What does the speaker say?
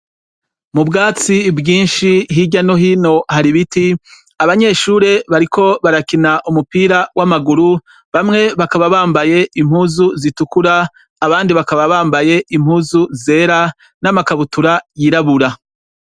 Mubwatsi bwinshi hirya no hino har'ibiti, abanyeshure bariko barakina umupira w'amaguru bamwe bakaba bambaye impuzu zitukura abandi bakaba bambaye impuzu zera n'amakabutura yirabura.